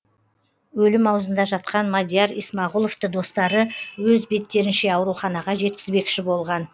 өлім аузында жатқан мадияр исмағұловты достары өз беттерінше ауруханаға жеткізбекші болған